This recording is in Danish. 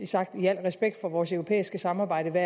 sagt i al respekt for vores europæiske samarbejde